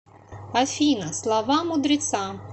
афина слова мудреца